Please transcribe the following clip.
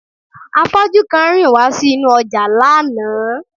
Afọ́jú kan rìn wá sí inú ọjà lánàá